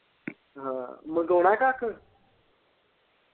ਮੰਗਵਾਉਣਾ ਕੱਖ।